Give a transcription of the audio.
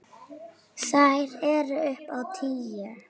Þær eru upp á tíu.